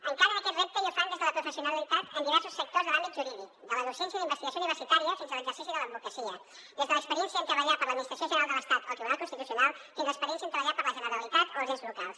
encaren aquest repte i ho fan des de la professionalitat en diversos sectors de l’àmbit jurídic de la docència i la investigació universitària fins a l’exercici de l’advocacia des de l’experiència en treballar per a l’administració general de l’estat o el tribunal constitucional fins a l’experiència en treballar per a la generalitat o els ens locals